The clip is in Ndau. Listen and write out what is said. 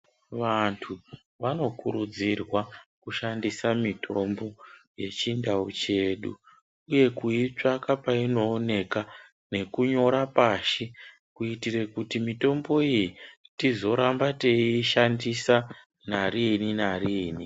Vantu vanokurudzirwa kushandisa mitombo yechindau chedu, uye kuitsvaka painooneka nekunyora pashi, kuitire kuti mitombo iyi tizoramba teiishandisa narini-nariini.